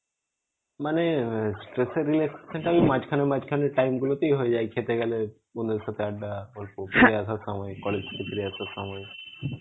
মানে, মাঝখানে মাঝখানে time গুলোতেই হয়ে যায়. খেতে গেলে বন্ধুদের সাথে আড্ডা গল্প ফিরে আসার সময় college থেকে ফিরে আসার সময়